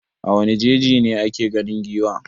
A wane jeji ne ake ganin giwa?